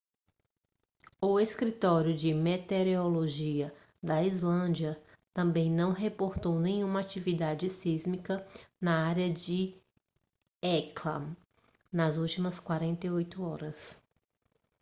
o escritório de meteorologia da islândia também não reportou nenhuma atividade sísmica na área de hekla nas últimas 48 horas